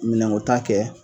Minɛnkota kɛ